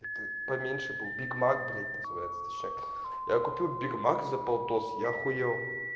поменьше был биг-мак блять называется я купил биг мак за полтос я ахуел